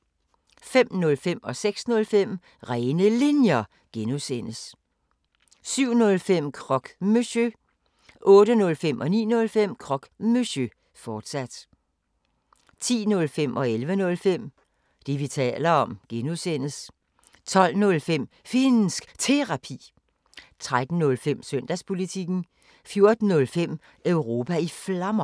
05:05: Rene Linjer (G) 06:05: Rene Linjer (G) 07:05: Croque Monsieur 08:05: Croque Monsieur, fortsat 09:05: Croque Monsieur, fortsat 10:05: Det, vi taler om (G) 11:05: Det, vi taler om (G) 12:05: Finnsk Terapi 13:05: Søndagspolitikken 14:05: Europa i Flammer